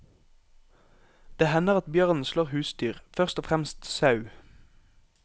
Det hender at bjørnen slår husdyr, først og fremst sau.